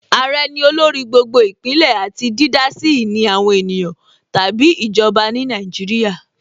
Àrẹ ní olórí gbogbo Ìpínlẹ̀ àti dídá sí ìní àwọn ènìyàn tàbí ìjọba ní Nàìjíríà